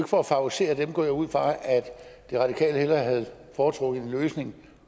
for at favorisere dem går jeg ud fra at de radikale hellere havde foretrukket en løsning